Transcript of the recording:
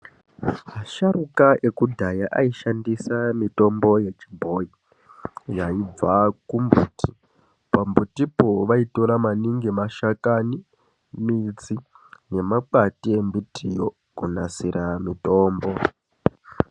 Asharuka ekudhaya aishandisa mitombo yechibhoyi yaibva kumbuti. Pambutipo vaitora maningi mashakani, midzi nemakwati embitiyo kunasira mitombo.